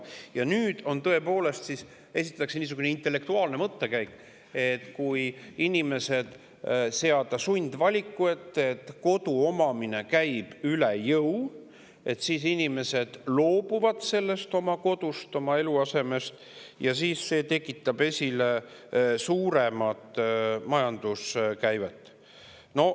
Ja nüüd siis tõepoolest esitatakse niisugune intellektuaalne mõttekäik, et kui seada inimesed sundvaliku ette sellega, et kodu omamine käib üle jõu, siis nad loobuvad oma kodust, oma eluasemest, ja see tekitab suuremat majanduskäivet.